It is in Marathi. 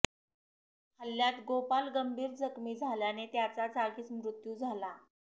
हल्ल्यात गोपाल गंभीर जखमी झाल्याने त्याचा जागीच मृत्यू झाला